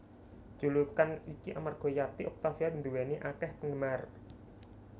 Julukan iki amarga Yati Octavia nduwèni akèh penggemar